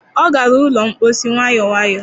Ọ gara ụlọ mposi nwayọ nwayọ.